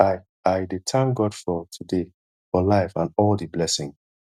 i i dey tank god for today for life and all di blessing